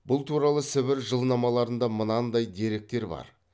бұл туралы сібір жылнамаларында мынадай деректер бар